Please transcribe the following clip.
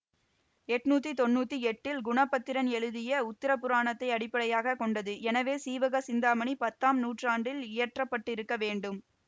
எட்ணூத்தி தொன்னூத்தி எட்டில் குணபத்திரன் எழுதிய உத்தரபுராணத்தை அடிப்படையாக கொண்டது எனவே சீவக சிந்தாமணி பத்தாம் நூற்றாண்டில் இயற்றப்பட்டிருக்க வேண்டும்